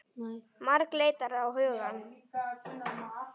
Margt leitar á hugann.